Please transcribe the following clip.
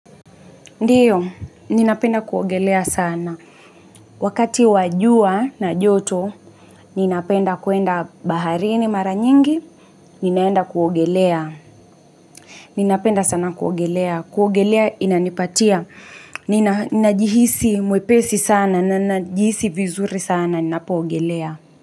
Ndio, ninapenda kuogelea sana. Wakati wa jua na joto, ninapenda kuenda baharini mara nyingi, ninaenda kuogelea. Ninapenda sana kuogelea. Kuogelea inanipatia. Ninajihisi mwepesi sana, ninajihisi vizuri sana, ninapoogelea.